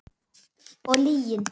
Og lygin.